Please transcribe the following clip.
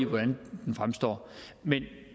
hvordan det fremstår men